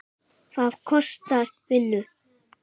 Það kostar vinnu!